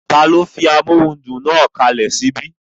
Taló fi amóhudùn náà kalẹ̀ sí ibí?